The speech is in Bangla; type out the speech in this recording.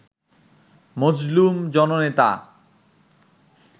মজলুম জননেতা